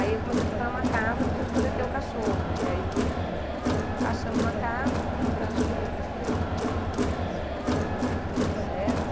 Aí eu comecei a procurar uma casa para gente poder ter o cachorro, e aí achamos uma casa, fomos morar junto, e aí sempre foi super bom e deu tudo certo.